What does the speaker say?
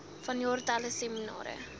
vanjaar talle seminare